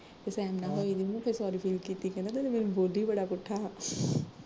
ਤੇ ਸੈਮ ਨਾਲ਼ ਹੋਈ ਫਿਰ ਉਹਨੂੰ sorry feel ਕੀਤੀ, ਕਹਿਣਦਾ ਮੈਨੂੰ ਮੈਨੂੰ ਬੋਲੀ ਬੜਾ ਪੁੱਠਾ ਸਾ